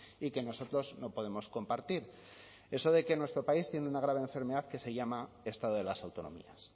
y que nosotros no podemos compartir eso de que nuestro país tiene una grave enfermedad que se llama estado de las autonomías